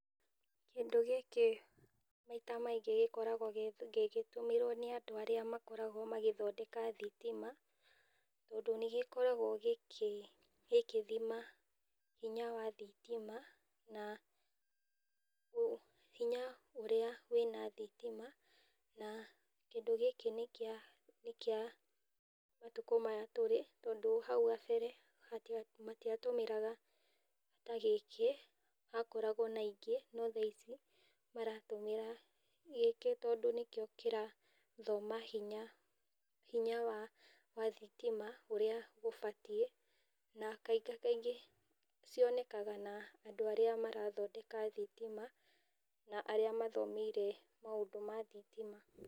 Kĩndũ gĩkĩ maita maingĩ gĩkoragwo gĩgĩtũmĩrwo nĩ andũ arĩa makoragwo magĩthondekaga thitima, tondũ nĩgĩkoragwo gĩgĩthima hinya wa thitima na hinya ũrĩa wĩna thitima, na kĩndũ gĩkĩ nĩkĩa nĩkĩa matukũ maya tũrĩ, tondũ hau gambere matia tũmagĩra ta gĩkĩ makoragwo na ingĩ , no thaa ici maratũmĩra gĩkĩ, tondũ nĩkĩo kĩrathoma hinya wa thitima ũrĩa gũbatiĩ na kanga kaingĩ cionekanaga na andũ arĩa marathondeka thitima, arĩa mathomeire maũndũ ma thitima.